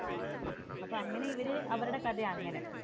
അപ്പൊ അങ്ങനെ ഇവർ അവരുടെ കഥയാണ് അങ്ങനെ.